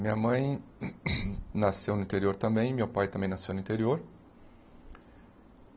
Minha mãe nasceu no interior também, meu pai também nasceu no interior.